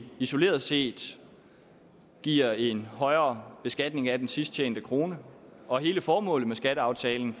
isoleret set giver en højere beskatning af den sidst tjente krone og hele formålet med skatteaftalen